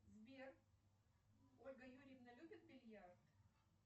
сбер ольга юрьевна любит бильярд